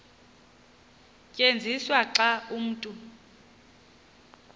tyenziswa xa umntu